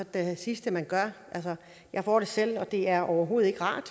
da det sidste man gør altså jeg får det selv og det er overhovedet ikke rart